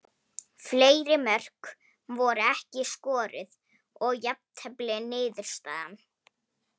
Fleiri mörk voru ekki skoruð og jafntefli niðurstaðan.